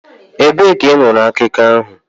Ebee ka ị nụrụ akụkọ ahụ?